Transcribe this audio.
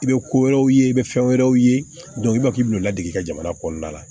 I bɛ ko wɛrɛw ye i bɛ fɛn wɛrɛw ye i b'a fɔ k'i bɛ ladege ka jamana kɔnɔna la